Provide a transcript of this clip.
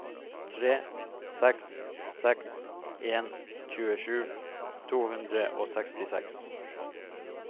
tre seks seks en tjuesju to hundre og sekstiseks